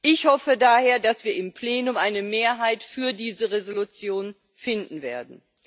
Ich hoffe daher, dass wir im Plenum eine Mehrheit für diese Entschließung finden werden.